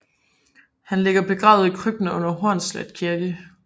Han ligger begravet i krypten under Hornslet Kirke